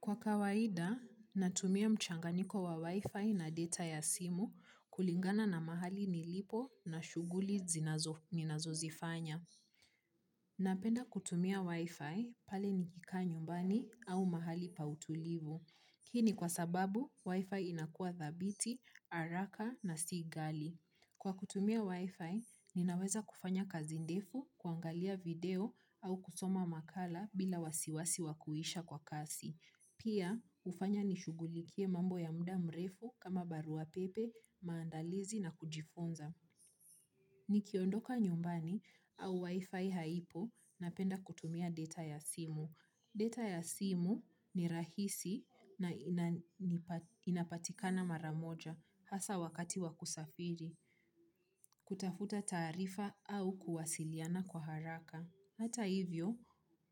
Kwa kawaida, natumia mchanganiko wa Wi-Fi na data ya simu kulingana na mahali nilipo na shughuli ninazo zifanya. Napenda kutumia Wi-Fi pale nikikaa nyumbani au mahali pa utulivu. Hii ni kwa sababu, Wi-Fi inakua thabiti, haraka na si ghali. Kwa kutumia Wi-Fi, ninaweza kufanya kazi ndefu kuangalia video au kusoma makala bila wasiwasi wa kuisha kwa kasi. Pia, hufanya nishugulikie mambo ya mda mrefu kama barua pepe, maandalizi na kujifunza. Nikiondoka nyumbani au wifi haipo napenda kutumia data ya simu. Data ya simu ni rahisi na inapatikana maramoja hasa wakati wa kusafiri. Kutafuta taarifa au kuwasiliana kwa haraka. Hata hivyo